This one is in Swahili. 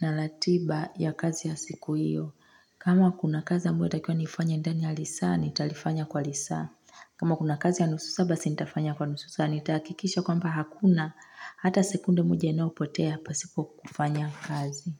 na ratiba ya kazi ya siku iyo. Kama kuna kazi ambayo yatakiwa nifanye ndani ya lisaa, nitalifanya kwa lisaa. Kama kuna kazi ya nusu saa basi nitafanya kwa nusu saa, nitaakikisha kwamba hakuna hata sekunde moja inayopotea pasipo kufanya kazi.